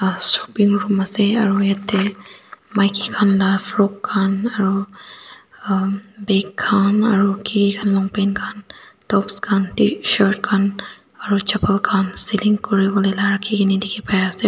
ah shopping room ase aro yate maiki khan laga frock khan aro am bikham aro kiki khan longpant tops khan t shirt khan aro chapal khan ceiling kori kena rakhi laga dekhi pai ase.